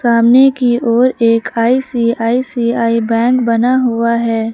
सामने की ओर एक आई_सी_आई_सी_आई बैंक बना हुआ है।